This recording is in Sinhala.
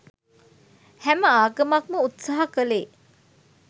හැම ආගමක්ම උත්සාහ කලේ